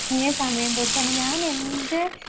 സമയം തൊട്ട്